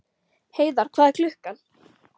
Heiðar, hvað er klukkan?